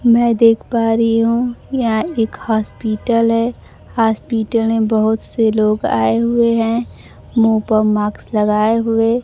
मैं देख पा रही हूं यहां एक हॉस्पिटल है हॉस्पिटल में बहोत से लोग आए हुए हैं मुंह पर मास्क लगाए हुए--